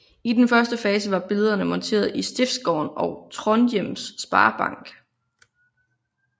I den første fase var billederne monteret i Stiftsgården og i Trondhjems Sparebank